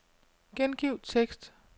Gengiv tekst.